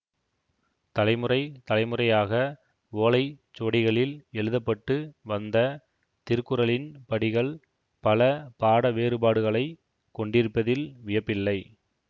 தலைமுறை தலைமுறையாக ஓலை சுவடிகளில் எழுத பட்டு வந்த திருக்குறளின் படிகள் பல பாட வேறுபாடுகளை கொண்டிருப்பதில் வியப்பில்லை